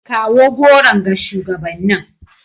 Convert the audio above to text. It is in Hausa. Kawo goron ga shugabannin.